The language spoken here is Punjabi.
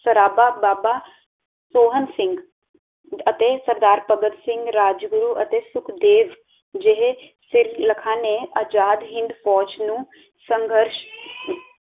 ਸਰਾਬਾ, ਬਾਬਾ ਸੋਹਨ ਸਿੰਘ, ਅਤੇ ਸਰਦਾਰ ਭਗਤ ਸਿੰਘ, ਰਾਜਗੁਰੂ ਅਤੇ ਸੁਖਦੇਵ ਜਹੇ ਸਿਰਲਖਾਂ ਨੇ ਆਜ਼ਾਦ ਹਿੰਦ ਫੌਜ਼ ਨੂੰ ਸੰਘਰਸ਼